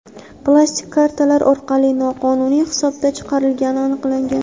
plastik kartalar orqali noqonuniy hisobdan chiqarilgani aniqlangan.